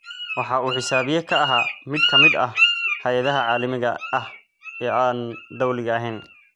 Waxa uu xisaabiye ka ahaa mid ka mid ah hay'adaha caalamiga ah ee aan dawliga ahayn.